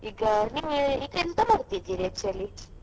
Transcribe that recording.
ಈಗ ನೀವು ಈಗ ಎಂತ ಮಾಡ್ತಿದ್ದೀರಿ actually ?